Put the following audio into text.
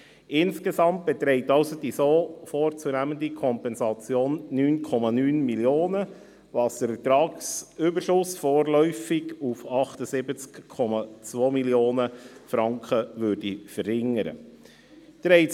Insgesamt beträgt also die so vorzunehmende Kompensation 9,9 Mio. Franken, was den Ertragsüberschuss vorläufig auf 78,2 Mio. Franken verringern würde.